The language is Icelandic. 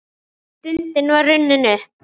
Stundin var runnin upp!